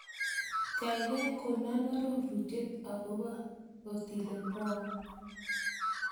Kaigai konon arorunet agobo Otile Brown